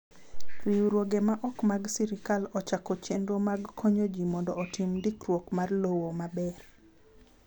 Riwruoge ma ok mag sirkal ochako chenro mag konyo ji mondo otim ndikruok mar lowo maber.